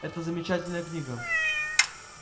это замечательная книга